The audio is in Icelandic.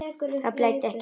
Það blæddi ekki mikið.